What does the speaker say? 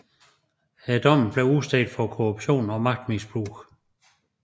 Dommen bliver udstedt for korruption og magtmisbrug